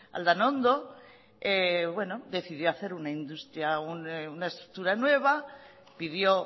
aldanondo decidió hacer una estructura nueva pidió